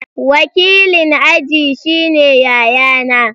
Wakilin aji shine yayana.